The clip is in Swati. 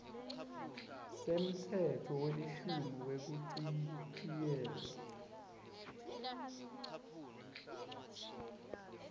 semtsetfo welishumi wekuchitjiyelwa